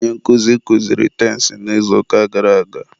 onye nkụzi kuziri tensị n'izuụka gara aga.